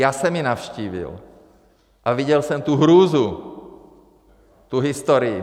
Já jsem ji navštívil a viděl jsem tu hrůzu, tu historii.